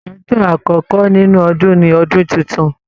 Ọjọ́ àkọkọ nínú Ọdún ní ọdún títún.